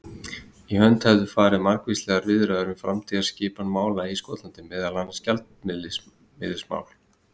Í hönd hefðu farið margvíslegar viðræður um framtíðarskipan mála í Skotlandi, meðal annars um gjaldmiðilsmál.